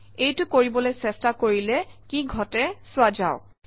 এইটো কৰিবলৈ চেষ্টা কৰিলে কি ঘটে চোৱা যাওক